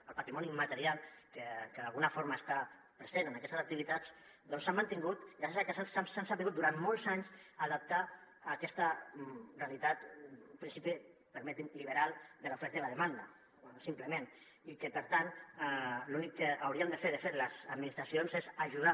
el patrimoni immaterial que d’alguna forma està present en aquestes activitats doncs s’ha mantingut gràcies a que s’han sabut durant molts anys adaptar a aquesta realitat en principi permetin me liberal de l’oferta i la demanda simplement i que per tant l’únic que haurien de fer de fet les administracions és ajudar